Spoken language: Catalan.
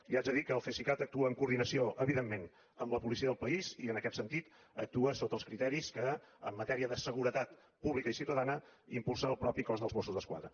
li haig de dir que el cesicat actua en coordinació evidentment amb la policia del país i en aquest sentit actua sota els criteris que en matèria de seguretat pública i ciutadana impulsa el mateix cos dels mossos d’esquadra